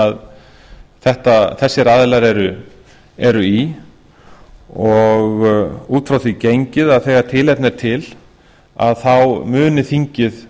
og þær sem þessir aðilar eru í og út frá því gengið að þegar tilefni er til muni þingið